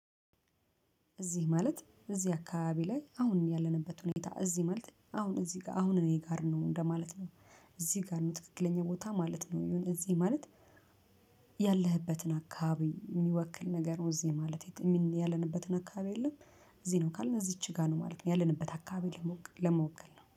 እዚህ ማለት እዚህ አካባቢ ላይ አሁን ያለንበት ሁኔታ እዚህ ማለት አሁን እዚህ ጋር አሁን እኔ ጋር ነው እንደማለት ነው እዚህ ጋር ነው ትክክለኛ ቦታ ማለት ነው። የሆነ እዚህ ማለት ያለህበትን አካባቢ የሚወክል ነገር እዚህ ማለት የሚ ያለንበትን አካባቢ የለም። እዚህ ነው ካልን እዚች ጋር ነው ማለት ያለንበት አካባቢ ለመወከል ነው